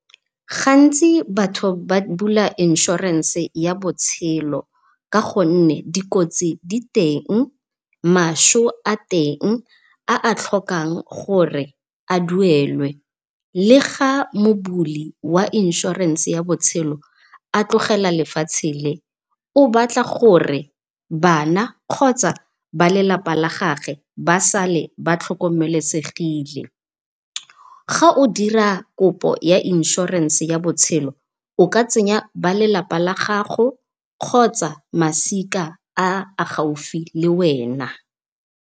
Gantsi batho ba bula insurance ya botshelo ka gonne dikotsi diteng maso a teng a a tlhokang gore a duelwe. Le ga mobudi wa insurance ya botshelo a tlogela lefatshe le, o batla gore bana kgotsa ba lelapa la gage ba sale ba tlhokomelesegile. Ga o dira kopo ya insurance ya botshelo, o ka tsenya ba lelalpa la gago kgotsa masika a a gaufi le wena.